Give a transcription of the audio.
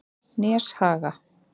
Neshaga